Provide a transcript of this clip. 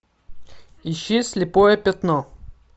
ищи слепое пятно